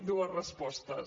dues respostes